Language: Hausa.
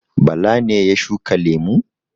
Bala ne ya shuka lemu?